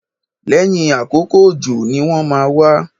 Lẹ́yìn àkókò òjò ni wọ́n máa wá